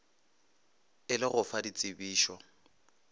e le go fa ditsebišo